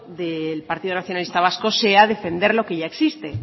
del partido nacionalista vasco sea defender lo que ya existe